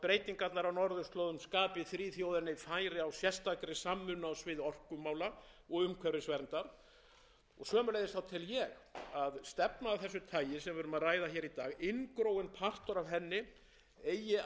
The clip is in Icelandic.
orkumála og umhverfisverndar og sömuleiðis tel ég að stefna af þessu tagi sem við erum að ræða í dag inngróinn partur af henni eigi að vera stuðningur íslands við réttindi frumbyggja svæðisins á öllum sviðum við